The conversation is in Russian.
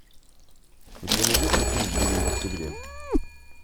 у тебя найдется фильм ленин в октябре